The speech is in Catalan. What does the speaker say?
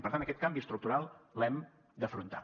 per tant aquest canvi estructural l’hem d’afrontar